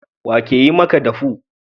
Wa ke yi maka dafu?